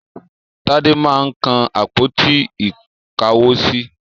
Tádé máa ń kan àpótí-ìkáwosí.